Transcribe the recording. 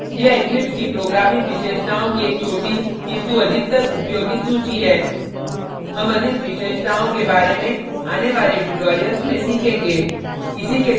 यह eclipse की programming विशेषताओं की एक छोटी किंतु अधिकतर उपयोगित सूची है हम अधिक विशेषताओं के बारे में आने वाले tutorials में सीखेंगे